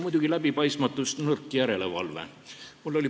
Muidugi läbipaistmatus ja nõrk järelevalve.